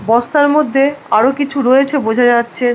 রাস্তার মধ্যে আরো কিছু রয়েছে বোঝা যাচ্ছে ।